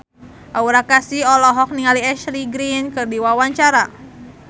Aura Kasih olohok ningali Ashley Greene keur diwawancara